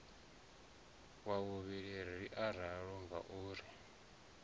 wa vhuvhili ri ralo ngauri